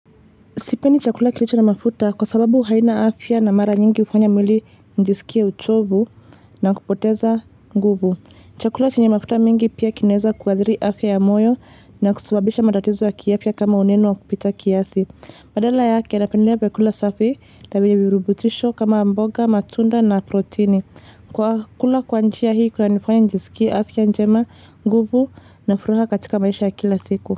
Sipeni chakula kilicho na mafuta kwa sababu haina afya na mara nyingi hufanya mwili nijisikie uchovu na kupoteza nguvu. Chakula chenye mafuta mingi pia kinaeza kuathiri afya ya moyo na kusababisha matatizo ya kiafya kama uneno wa kupita kiasi. Badala yake napendelea vyakula safi, na vyenye virubutisho kama amboga, matunda na protini. Kwa kula kwa njia hii kunanifanya njisikie afya njema, nguvu na furaha katika maisha ya kila siku.